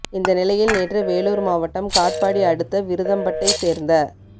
இந்த நிலையில் நேற்று வேலூர் மாவட்டம் காட்பாடி அடுத்த விருதம்பட்டை சேர்ந்த